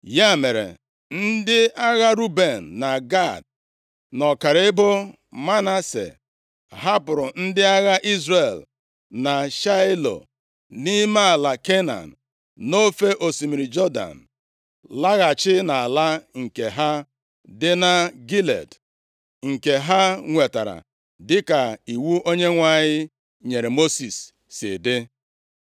Ya mere, ndị agha Ruben na Gad, na ọkara ebo Manase, hapụrụ ndị agha Izrel na Shaịlo, nʼime ala Kenan, nʼofe osimiri Jọdan, laghachi nʼala nke ha dị na Gilead, nke ha nwetara dịka iwu Onyenwe anyị nyere Mosis si dị.